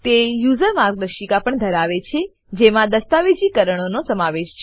તે યુઝર માર્ગદર્શિકા પણ ધરાવે છે જેમાં દસ્તાવેજીકરણનો સમાવેશ છે